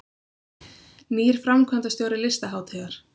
Nýr framkvæmdastjóri Listahátíðar